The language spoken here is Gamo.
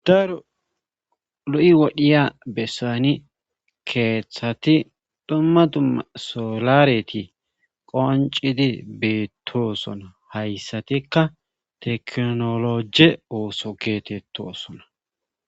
Daaro lu7i wodhiya bessani keeththati dhumma dumma solareti qoncidi beettosona hayssatikka teknoloje ooso geetetto sona.